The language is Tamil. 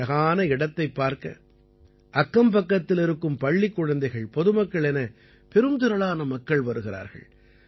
இந்த அழகான இடத்தைப் பார்க்க அக்கம்பக்கத்திலிருக்கும் பள்ளிக் குழந்தைகள் பொதுமக்கள் என பெரும் திரளான மக்கள் வருகிறார்கள்